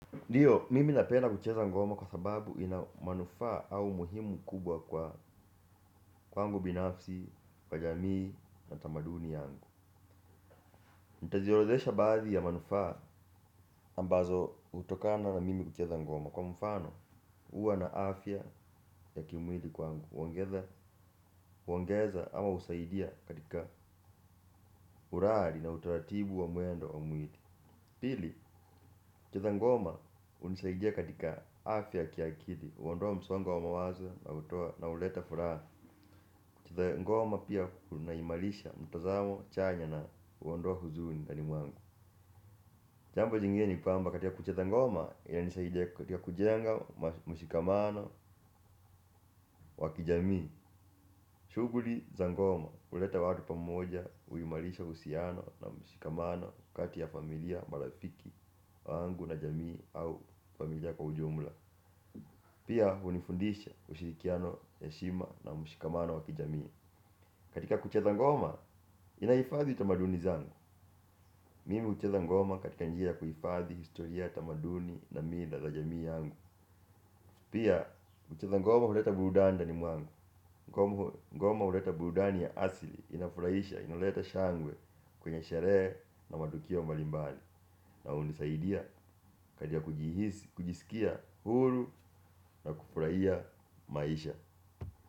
Ndiyo mimi napenda kucheza ngoma kwa sababu ina manufaa au umuhimu mkubwa kwangu binafsi, kwa jamii na tamaduni yangu. Nitaziorodhesha baadhi ya manufaa ambazo hutokana na mimi kucheza ngoma. Kwa mfano, huwa na afya ya kimwili kwangu. Huongeza huongeza ama husaidia katika uradi na utaratibu wa mwendo au mwili. Pili, kucheza ngoma hunisaidia katika afya ya kiakili. Huondoa msongo wa mawazo na hutoa na huleta furaha kucheza ngoma pia kunaimarisha mtazamo chanya na huondoa huzuni ndani mwangu jambo jingine ni kwamba katika kucheza ngoma inanisaidia katika kujenga mshikamano wa kijamii. Shughuli za ngoma huleta watu pamoja, huimarisha uhusiano na mshikamano kati ya familia, marafiki wangu na jamii au familia kwa ujumla pia hunifundisha ushirikiano heshima na mshikamano wa kijamii. Katika kucheza ngoma, inahifadhi tamaduni zangu mimi hucheza ngoma katika njia ya kuhifadhi historia ya tamaduni na mila za jamii yangu pia kucheza ngoma huleta burudani ndani mwangu ngoma huleta burudani ya asili, inafurahisha, inaleta shangwe kwenye sherehe na matukio mbalimbali na hunisaidia katika kujihisi kujisikia huru na kufurahia maisha.